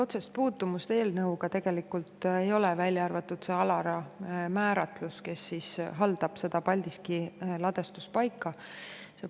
Otsest puutumust sellel eelnõuga tegelikult ei ole, välja arvatud see ALARA määratlus, kes haldab seda Paldiski ladustuspaika.